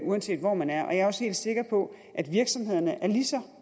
uanset hvor man er jeg er også helt sikker på at virksomhederne er lige så